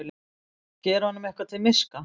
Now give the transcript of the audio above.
Gera honum eitthvað til miska!